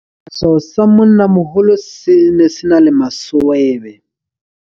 Sefahleho sa monnamoholo se ne se na le maswebe.